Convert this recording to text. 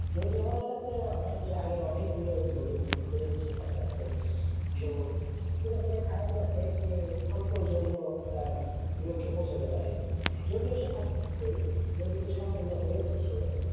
যদি আমার কাছে এর আগে অনেক গুলোা Golden boot রয়েছে তার কাছে তো খারাপ লাগছে সে অল্প এর জন্য তার লক্ষে পৌছাতে পারে নি যদিও সে যদিও সে সাফল্য হয়েছে সে